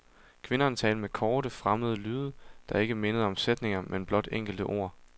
Kvinderne talte med korte, fremmede lyde, der ikke mindede om sætninger, men blot enkelte ord.